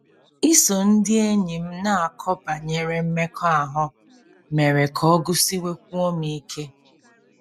Iso ndị enyi m na-akọ banyere mmekọahụ mere ka ọ gụsiwekwuo m ike.